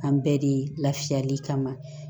An bɛɛ de lafiyali kama